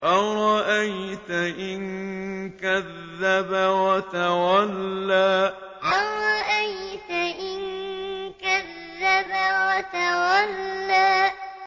أَرَأَيْتَ إِن كَذَّبَ وَتَوَلَّىٰ أَرَأَيْتَ إِن كَذَّبَ وَتَوَلَّىٰ